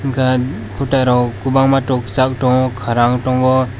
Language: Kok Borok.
gan kotai rok kobangma tok sal tango kara ongtango.